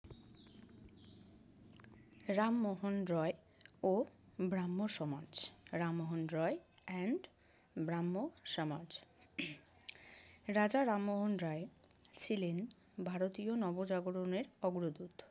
রামমোহন রয় ও Brahmo Samaj. rammohon roy and brahmo somaj Raja Rammohan Roy ছিলেন ভারতীয় নবজাগরণের অগ্রদূত।